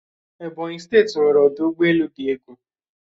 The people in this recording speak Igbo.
Ebonyi steeti nweere ọdụ ụgbọelu di egwu